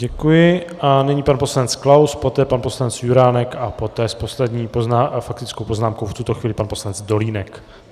Děkuji a nyní pan poslanec Klaus, poté pan poslanec Juránek a poté s poslední faktickou poznámkou v tuto chvíli pan poslanec Dolínek.